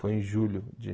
Foi em julho de